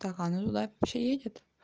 так а оно туда вообще едет